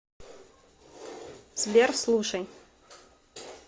сбер слушай